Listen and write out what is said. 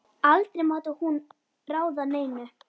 Aldrei mátti hún ráða neinu.